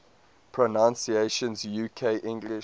pronunciations uk english